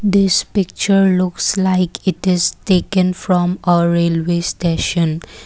this picture looks like it is taken from a railway station.